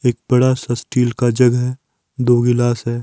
एक बड़ा सा स्टील का जग है दो गिलास है।